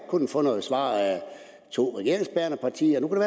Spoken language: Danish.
kunnet få noget svar at to regeringsbærende partier nu